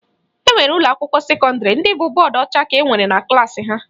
E nwere ụlọakwụkwọ sekọndịrị ndị bụ bọọdụ ọcha ka nwere na klaasị ha